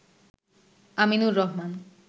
Aminur Rahman